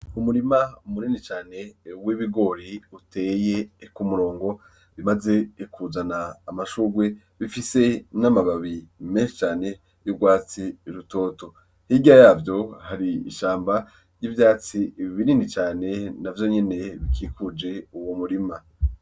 Umurima munini cane w' ibigori uteye kumurongo umaze kuzana amashurwe ifise n' amababi menshi cane y' ugwatsi rutoto , hirya yavyo hari ishamba y' ivyitsi binini cane navyo nyene bikikuje umurima.